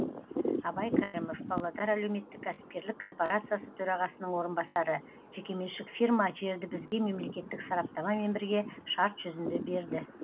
абай кәрімов павлодар әлеуметтік кәсіпкерлік корпорациясы төрағасының орынбасары жекеменшік фирма жерді бізге мемлекеттік сараптамамен бірге шарт жүзінде берді